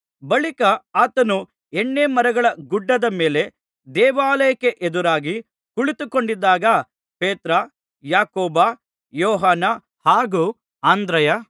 ಬಳಿಕ ಆತನು ಎಣ್ಣೆ ಮರಗಳ ಗುಡ್ಡದ ಮೇಲೆ ದೇವಾಲಯಕ್ಕೆ ಎದುರಾಗಿ ಕುಳಿತುಕೊಂಡಿದ್ದಾಗ ಪೇತ್ರ ಯಾಕೋಬ ಯೋಹಾನ ಹಾಗೂ ಅಂದ್ರೆಯ